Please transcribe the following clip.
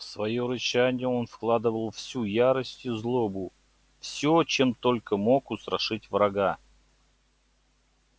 в своё рычание он вкладывал всю ярость и злобу всё чем только мог устрашить врага